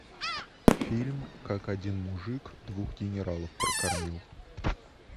фильм как один мужик двух генералов прокормил